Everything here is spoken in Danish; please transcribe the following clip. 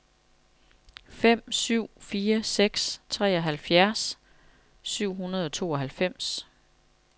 fem syv fire seks treoghalvfjerds syv hundrede og tooghalvfems